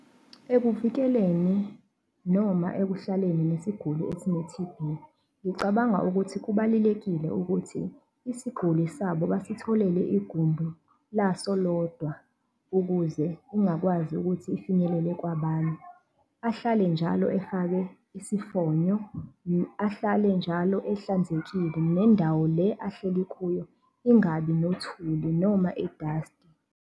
Ekuvikeleni noma ekuhlaleni nesiguli esine-T_B, ngicabanga ukuthi kubalulekile ukuthi isiguli sabo basitholele igumbi laso lodwa, ukuze ungakwazi ukuthi ifinyelele kwabanye. Ahlale njalo efake isifonyo, ahlale njalo ehlanzekile nendawo le ahleli kuyo ingabi nothuli noma idasti.